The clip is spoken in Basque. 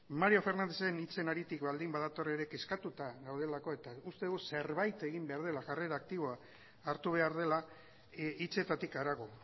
mario fernándezen hitzen haritik baldin badator ere kezkatuta gaudelako eta uste dugu zerbait egin behar dela jarrera aktiboa hartu behar dela hitzetatik harago